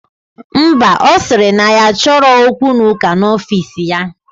Ḿbà, osiri na ya achoro okwu na uka na ofis ya.